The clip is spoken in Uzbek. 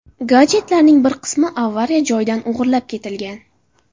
Gadjetlarning bir qismi avariya joyidan o‘g‘irlab ketilgan.